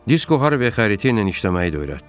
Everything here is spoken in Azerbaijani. Disko Harviyə xəritəylə işləməyi də öyrətdi.